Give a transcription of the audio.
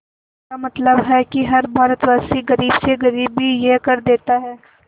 इसका मतलब है कि हर भारतवासी गरीब से गरीब भी यह कर देता है